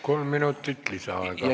Kolm minutit lisaaega.